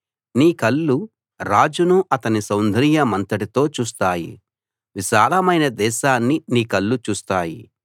నీ కళ్ళు రాజును అతని సౌందర్యమంతటితో చూస్తాయి విశాలమైన దేశాన్ని నీ కళ్ళు చూస్తాయి